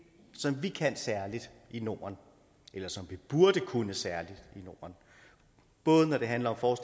som vi kan særligt i norden eller som vi burde kunne særligt i norden både når det handler